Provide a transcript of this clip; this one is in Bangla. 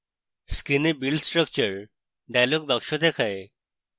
screen build structure dialog box দেখায়